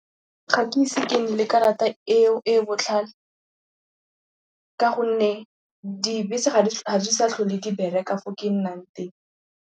Ga ke ise ke nne le kerata eo e botlhale ka gonne dibese ga di sa tlhole di bereka fo ke nnang teng.